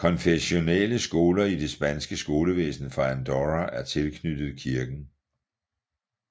Konfessionelle skoler i det spanske skolevæsen for Andorra er tilknyttet kirken